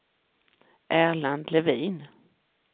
Erland Levin